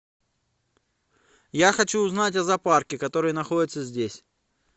я хочу узнать о зоопарке который находится здесь